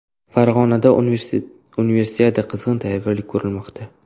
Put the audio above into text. Farg‘onada Universiadaga qizg‘in tayyorgarlik ko‘rilmoqda.